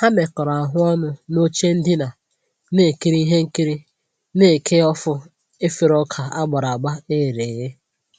Ha mekọrọ ahụ ọnụ n'oche ndina na-ekiri ihe nkiri na eke Ofú efere ọka agbara agba eghere eghe